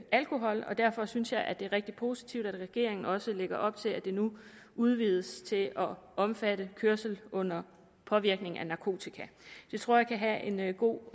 alkohol og derfor synes jeg at det er rigtig positivt at regeringen også lægger op til at det nu udvides til at omfatte kørsel under påvirkning af narkotika det tror jeg kan have en god